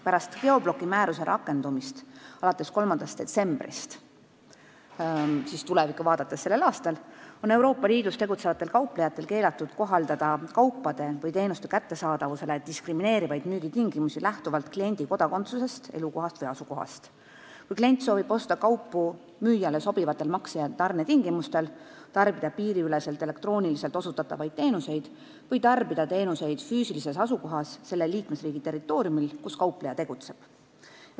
Pärast geobloki määruse rakendumist, alates 3. detsembrist sellel aastal, on Euroopa Liidus tegutsevatel kauplejatel keelatud kohaldada kaupade või teenuste kättesaadavusele diskrimineerivaid müügitingimusi lähtuvalt kliendi kodakondsusest, elukohast või asukohast, kui klient soovib osta kaupu müüjale sobivatel makse- ja tarnetingimustel, tarbida piiriüleselt elektrooniliselt osutatavaid teenuseid või tarbida teenuseid füüsilises asukohas selle liikmesriigi territooriumil, kus kaupleja tegutseb.